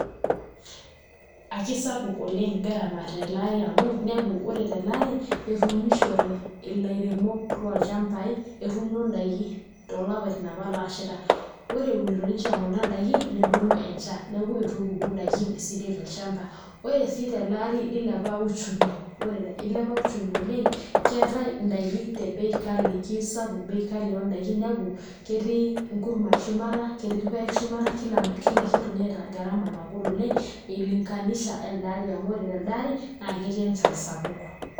Akisapuk oleng' garama tele ari amu inepu ore tele ari etuunishote ilairemok lolchambai etuuno ndaiki toolapaitin apa looshaita ore eunito ninche kuna daikin nedung'o enchan neeku itu epuku ndaikin esidai tolchamba, ore sii teleari nilepa uchumi, ilepa uchumi oleng' keetai ndaiki te bei kali kesapuk bei kali oo ndaiki inepu ketii nkurman shumata, ketii irpaek shumata, kila kitu neeta garama nagol oleng' o ilinganisha o elde ari amu telde ari naa ketii enchan sapuk.